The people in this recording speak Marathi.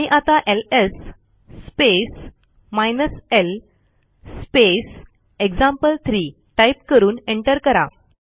आणि आता LS space hyphen l space example three type करून एंटर करा